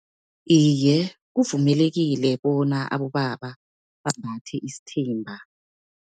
Iye, kuvumelekile, bona abobaba bambathe isithimba.